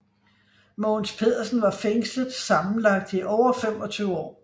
Mogens Pedersen var fængslet sammenlagt i over 25 år